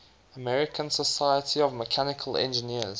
american society of mechanical engineers